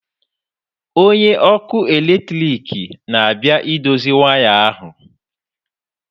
Onye ọkụ eletrik na-abịa idozi waya ahu.